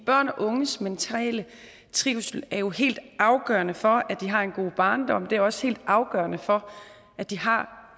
børn og unges mentale trivsel er jo helt afgørende for at de har en god barndom og det er også helt afgørende for at de har